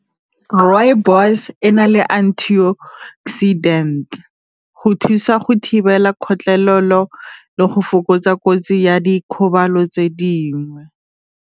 Rooibos ena le antioxidant, go thusa go thibela kgotlhelelo le go fokotsa kotsi ya dikgobalo tse dingwe.